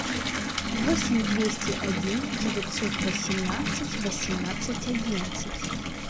восемь двести один девятьсот восемнадцать восемнадцать одиннадцать